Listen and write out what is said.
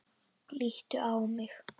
Líttu á mig.